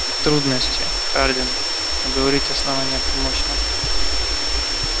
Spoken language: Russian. к трудности хардин уговорить основание помочь нам